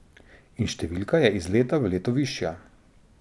In številka je iz leta v leto višja.